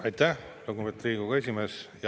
Aitäh, lugupeetud Riigikogu esimees!